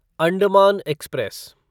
Andaman express